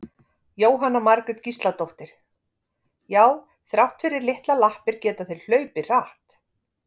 Jóhanna Margrét Gísladóttir: Já þrátt fyrir litlar lappir geta þeir hlaupið hratt?